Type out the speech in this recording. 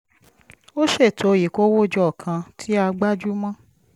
a ṣètò ìkówójọ kan tí a gbájú mọ́